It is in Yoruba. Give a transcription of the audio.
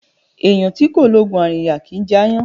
Eeyan ti ko loogun arinya kì í jẹ aayan